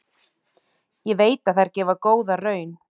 Ég veit að þær gefa góða raun.